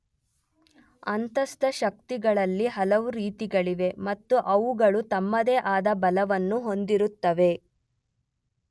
ಅಂತಸ್ಥ ಶಕ್ತಿಗಳಲ್ಲಿ ಹಲವು ರೀತಿಗಳಿವೆ ಮತ್ತು ಅವುಗಳು ತಮ್ಮದೇ ಆದ ಬಲವನ್ನು ಹೊಂದಿರುತ್ತವೆ.